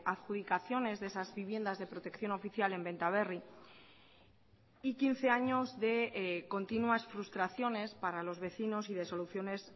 adjudicaciones de esas viviendas de protección oficial en benta berri y quince años de continuas frustraciones para los vecinos y de soluciones